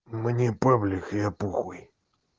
мне павлик я бухой